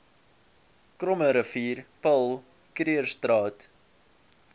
krommerivier paul krugerstraat